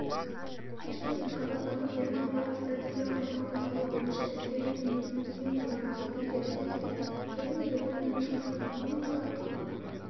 пешкемен қазақстандық-германиялық стратегиялық ынтымақтастығы бойынша іскерлік кеңесінің тең төрағасы петер тильспен және германияның шығыс экономикалық